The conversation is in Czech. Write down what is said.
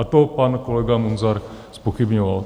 A to pan kolega Munzar zpochybňoval.